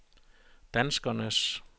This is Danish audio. danskernes